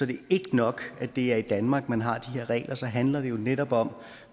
det ikke nok at det er i danmark man har de her regler men så handler det jo netop om